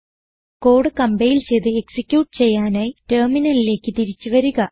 code compile ചെയ്ത് execute ചെയ്യാനായി ടെർമിനലിലേക്ക് തിരിച്ച് വരിക